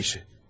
Nə işi?